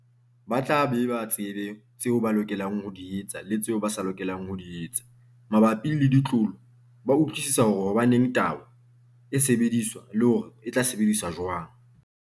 Ba tla be ba tsebe tseo ba lokelang ho di etsa le tseo ba sa lokelang ho di etsa. Mabapi le ditlolo ba utlwisisa hore hobaneng tayo e sebediswa, le hore e tla sebediswa jwang.